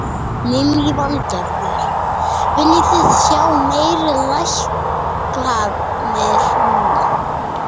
Lillý Valgerður: Þið viljið sjá meiri lækkanir núna?